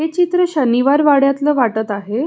हे चित्र शनिवार वाड्यातल वाटत आहे.